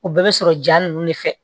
O bɛɛ bɛ sɔrɔ ja ninnu de fɛ